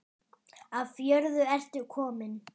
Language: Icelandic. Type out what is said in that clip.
Af jörðu ertu kominn.